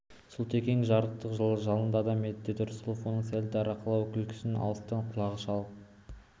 сұлтекең жарықтық жалынды адам деді рысқұлов оның сәл дарақылау күлкісін алыстан құлағы шалып